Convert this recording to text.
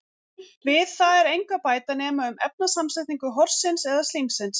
Við það er engu að bæta nema um efnasamsetningu horsins eða slímsins.